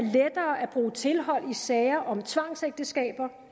bruge tilhold i sager om tvangsægteskaber